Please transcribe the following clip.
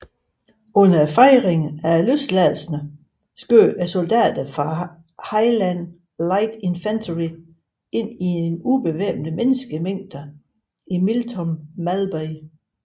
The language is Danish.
Under fejringen af løsladelserne skød soldater fra Highland Light Infantry ind i en ubevæbnet menneskemængde i Miltown Malbay